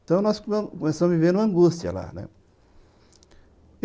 Então, nós começamos a viver uma angústia lá, né.